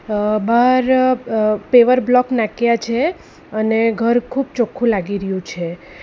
અહ બાર અહ paver block નાખ્યા છે અને ઘર ખૂબ ચોખ્ખું લાગી રયુ છે.